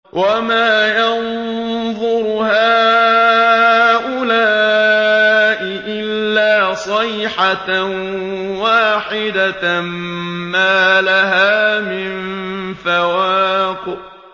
وَمَا يَنظُرُ هَٰؤُلَاءِ إِلَّا صَيْحَةً وَاحِدَةً مَّا لَهَا مِن فَوَاقٍ